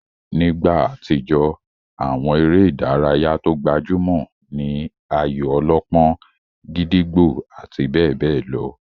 Nígbà àtijó, àwọn eré ìdárayá tó gbajúmọ̀ ní ayò-ọlọ́pọ́n, gídígbò àti bẹ́ẹ̀ bẹ́ẹ̀ lọ.